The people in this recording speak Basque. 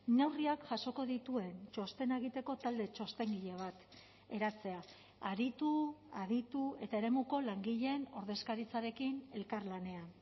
neurriak jasoko dituen txostena egiteko talde txostengile bat eratzea aritu aditu eta eremuko langileen ordezkaritzarekin elkarlanean